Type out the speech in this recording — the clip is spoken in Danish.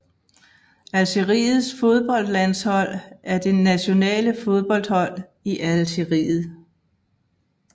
Algeriets fodboldlandshold er det nationale fodboldhold i Algeriet